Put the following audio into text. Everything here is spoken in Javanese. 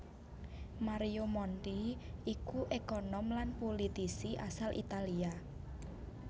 Mario Monti iku ékonom lan pulitisi asal Italia